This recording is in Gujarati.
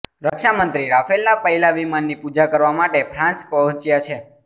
રક્ષામંત્રી રાફેલના પહેલાં વિમાનની પૂજા કરવા માટે ફ્રાન્સ પહોંચ્યા છે